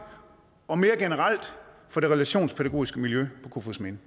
og mere generelt for det relationspædagogiske miljø på kofoedsminde